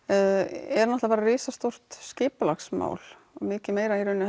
er náttúrulega bara risastórt skipulagsmál og mikið meira